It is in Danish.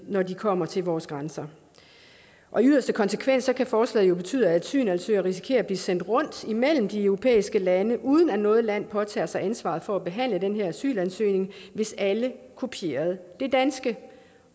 når de kommer til vores grænser i yderste konsekvens kan forslaget betyde at asylansøgere risikerer at blive sendt rundt imellem de europæiske lande uden at noget land påtager sig ansvaret for at behandle den her asylansøgning hvis alle kopierede det danske